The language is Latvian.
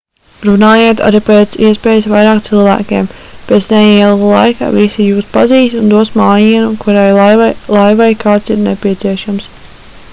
runājiet ar pēc iespējas vairāk cilvēkiem pēc neilga laika visi jūs pazīs un dos mājienu kurai laivai kāds ir nepieciešams